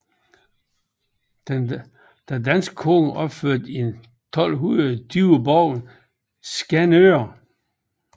Den danske konge opførte i cirka 1220 borgen i Skanør